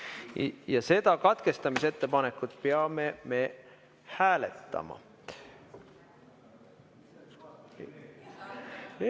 Ja seda katkestamisettepanekut me peame hääletama.